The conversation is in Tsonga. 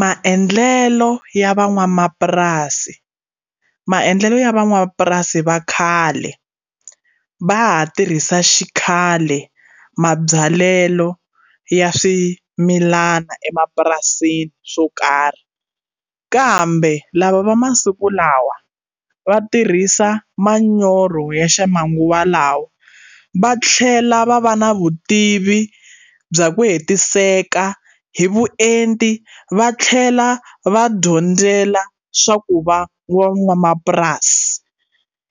Maendlelo ya van'wamapurasi maendlelo ya van'wamapurasi va khale va ha tirhisa xikhale mabyalelo ya swimilana emapurasini swo karhi kambe lava va masiku lawa va tirhisa manyoro ya ximanguva lawa va tlhela va va na vutivi bya ku hetiseka hi vuenti va tlhela va dyondzela swa ku van'wamapurasi